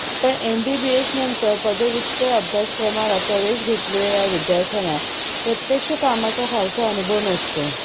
पण एमबीबीएसनंतर पदव्युत्तर अभ्यासक्रमाला प्रवेश घेतलेल्या या विद्यार्थ्यांना प्रत्यक्ष कामाचा फारसा अनुभव नसतो